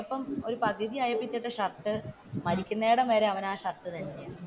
ആ ഒരു സിനിമാ തുടങ്ങി പകുതിയായപ്പോൾ ഇട്ട ഷർട്ട് മരിക്കുന്നയിടം വരെ അവൻ ആ ഷർട്ട് തന്നെയാണ്.